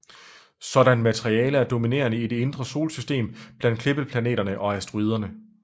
Sådant materiale er dominerende i det indre solsystem blandt klippeplaneterne og asteroiderne